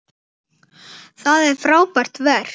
Það er frábært verk.